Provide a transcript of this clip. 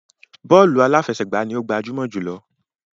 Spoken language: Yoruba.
Bọ́ọ̀lù aláfẹsẹ̀gbá ni ó gbajúmọ̀ jùlọ.